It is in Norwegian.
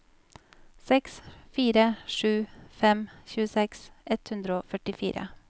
seks fire sju fem tjueseks ett hundre og førtifire